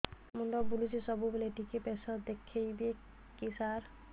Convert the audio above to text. ମୁଣ୍ଡ ବୁଲୁଚି ସବୁବେଳେ ଟିକେ ପ୍ରେସର ଦେଖିବେ କି ସାର